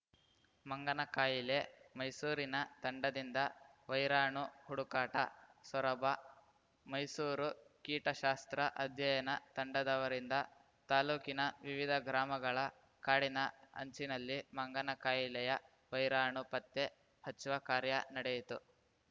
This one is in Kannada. ಮಂಗನಕಾಯಿಲೆ ಮೈಸೂರಿನ ತಂಡದಿಂದ ವೈರಾಣು ಹುಡುಕಾಟ ಸೊರಬ ಮೈಸೂರು ಕೀಟಶಾಸ್ತ್ರ ಅಧ್ಯಯನ ತಂಡದವರಿಂದ ತಾಲೂಕಿನ ವಿವಿಧ ಗ್ರಾಮಗಳ ಕಾಡಿನ ಅಂಚಿನಲ್ಲಿ ಮಂಗನ ಕಾಯಿಲೆಯ ವೈರಾಣು ಪತ್ತೆ ಹಚ್ಚುವ ಕಾರ್ಯ ನಡೆಯಿತು